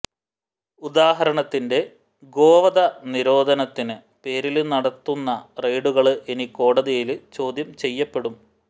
ഉദാഹരണത്തിന്റെ ഗോവധ നിരോധനത്തിന് പേരില് നടത്തുന്ന റെയ്ഡുകള് ഇനി കോടതിയില് ചോദ്യം ചെയ്യപ്പെടും